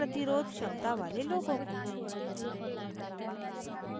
कम प्रतिरोध क्षमता वाले लोगों को